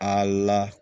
A la